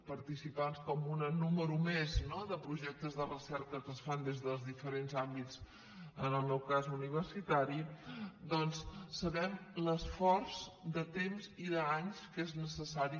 participants com un número més no de projectes de recerca que es fan des dels diferents àmbits en el meu cas universitari doncs sabem l’esforç de temps i d’anys que és necessari